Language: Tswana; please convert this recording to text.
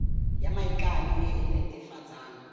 ya maikano e e netefatsang